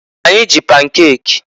Anyị ji pankek.